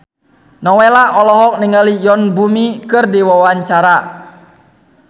Nowela olohok ningali Yoon Bomi keur diwawancara